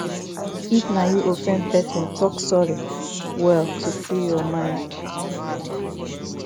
if na you offend person talk sorry well to free your mind